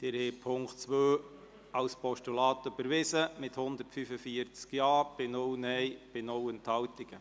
Sie haben Ziffer 2 als Postulat überwiesen mit 145 Ja- gegen 0 Nein-Stimmen bei 0 Enthaltungen.